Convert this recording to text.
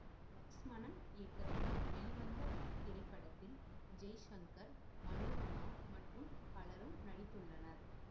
லக்ஸ்மனன் இயக்கத்தில் வெளிவந்த இத்திரைப்படத்தில் ஜெய்சங்கர் மனோரமா மற்றும் பலரும் நடித்துள்ளனர்